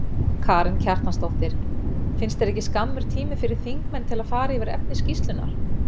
Karen Kjartansdóttir: Finnst þér ekki skammur tími fyrir þingmenn til að fara yfir efni skýrslunnar?